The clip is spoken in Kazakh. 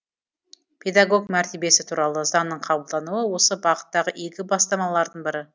педагог мәртебесі туралы заңның қабылдануы осы бағыттағы игі бастамалардың бірі